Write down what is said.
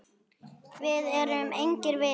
Við erum engir vinir.